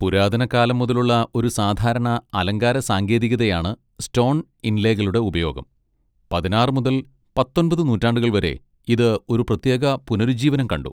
പുരാതന കാലം മുതലുള്ള ഒരു സാധാരണ അലങ്കാര സാങ്കേതികതയാണ് സ്റ്റോൺ ഇൻലേകളുടെ ഉപയോഗം, പതിനാറ് മുതൽ പത്തൊൻപത് നൂറ്റാണ്ടുകൾ വരെ ഇത് ഒരു പ്രത്യേക പുനരുജ്ജീവനം കണ്ടു.